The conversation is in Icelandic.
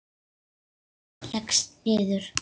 Og hún leggst niður.